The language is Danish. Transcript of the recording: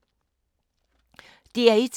DR1